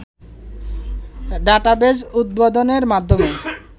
database উদ্বোধনের মাধ্যমে